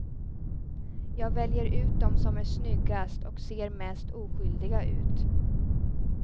Jag väljer ut dem som är snyggast och ser mest oskyldiga ut.